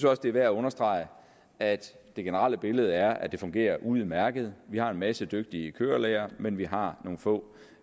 også det er værd at understrege at det generelle billede er at det fungerer udmærket vi har en masse dygtige kørelærere men vi har nogle få